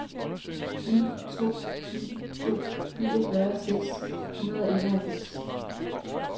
ni to ni to niogfyrre seks hundrede og enoghalvfems